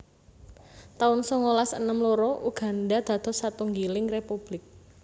taun songolas enem loro Uganda dados satunggiling republik